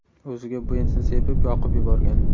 o‘ziga benzin sepib, yoqib yuborgan.